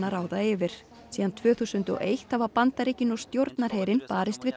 ráða yfir síðan tvö þúsund og eitt hafa Bandaríkin og stjórnarherinn barist við